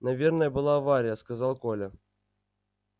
наверное была авария сказал коля